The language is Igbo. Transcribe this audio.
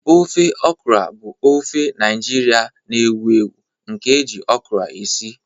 Ofe okra bụ ofe Naijiria na-ewu ewu nke eji okra esi.